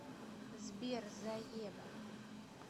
сбер заеба